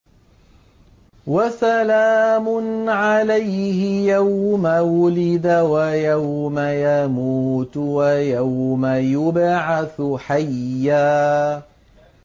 وَسَلَامٌ عَلَيْهِ يَوْمَ وُلِدَ وَيَوْمَ يَمُوتُ وَيَوْمَ يُبْعَثُ حَيًّا